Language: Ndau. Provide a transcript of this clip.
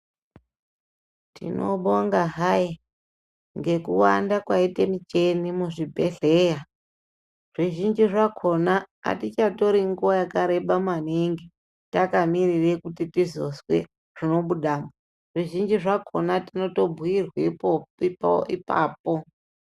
Tinobonga hai ngekuwanda kwaita michini muzvibhodhleya zvizhinji zvakhona atichatori nguwa yakareba maningi takamirire kuti tizozwe zvinobudamo. Zvizhinji zvakhona tinotobhuirwe ipapo.